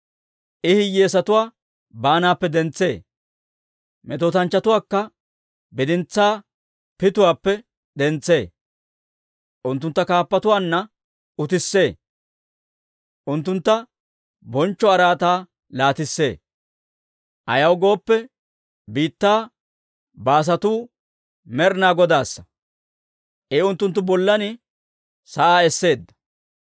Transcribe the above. I hiyyeesatuwaa baanaappe dentsee. Metootanchchatuwaakka bidintsaa pituwaappe dentsee; unttuntta kaappatuwaanna utissee; unttuntta bonchcho araataa laatissee. «Ayaw gooppe, biittaa baasatu Med'inaa Godaassa; I unttunttu bollan sa'aa esseedda.